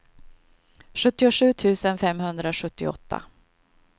sjuttiosju tusen femhundrasjuttioåtta